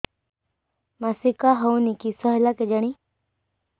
ମାସିକା ହଉନି କିଶ ହେଲା କେଜାଣି